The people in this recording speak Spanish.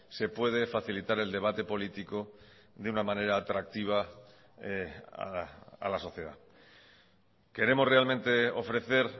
se puede facilitar el debate político de una manera atractiva a la sociedad queremos realmente ofrecer